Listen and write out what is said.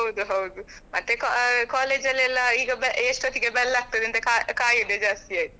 ಹೌದು ಹೌದು ಮತ್ತೆ ಆ college ಅಲ್ಲಿ ಎಲ್ಲ ಈಗ ಎಷ್ಟು ಹೊತ್ತಿಗೆ ಆ bell ಅಂತ ಕಾಯ್~ ಕಾಯುದೇ ಜಾಸ್ತಿ ಆಯ್ತು.